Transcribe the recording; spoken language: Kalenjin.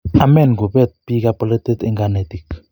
omeen kuppet biikab bolotet eng kanetik